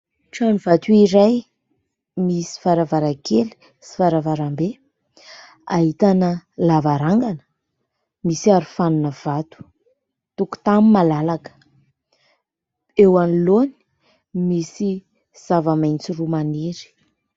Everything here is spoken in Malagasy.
Trano vato iray misy varavarankely sy varavarambe ahitana lavarangana misy arofanina vato. Tokotany malalaka. Eo anoloany misy zavamaitso roa maniry.